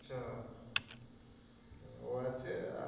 ও আছে আর,